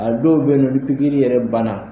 A dɔw bɛ yen nɔ ni pikiri ban na.